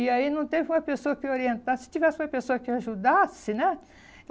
E aí não teve uma pessoa que orientasse, se tivesse uma pessoa que ajudasse, né?